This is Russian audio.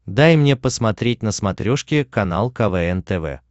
дай мне посмотреть на смотрешке канал квн тв